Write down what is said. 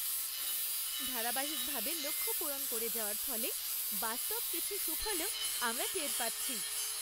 ধারাবাহিকভাবে লক্ষ্য পূরণ করে যাওয়ার ফলে বাস্তব কিছু সুফলও আমরা টের পাচ্ছি।